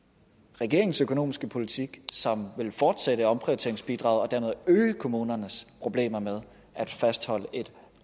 regeringens økonomiske politik som vil fortsætte omprioriteringsbidraget og dermed øge kommunernes problemer med at fastholde et